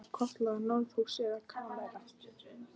Var það kallað norðurhús eða kamers